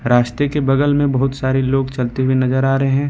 रास्ते के बगल में बहुत सारे लोग चलते हुए नजर आ रहे हैं।